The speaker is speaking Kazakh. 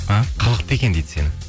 а қылықты екен дейді сені